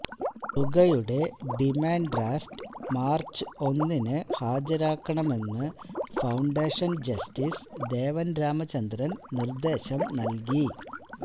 തുകയുടെ demand draft March ഒന്നിന് ഹാജരാക്കണമെന്ന് ഫൌണ്ടേഷന് ജസ്റ്റീസ് ദേവന് രാമചന്ദ്രന് നിര്ദേശം നല്കി